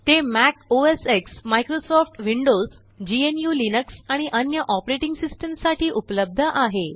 ते Mac OS X Microsoft Windows gnuलिनक्स आणिअन्य ऑपरेटिंग सिस्टम साठीउपलब्ध आहे